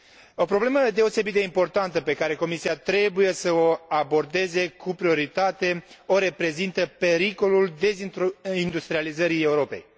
O problemă deosebit de importantă pe care Comisia trebuie să o abordeze cu prioritate o reprezintă pericolul dezindustrializării Europei.